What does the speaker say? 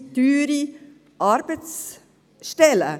es sind teure Arbeitsstellen.